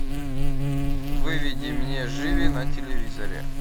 выведи мне живи на телевизоре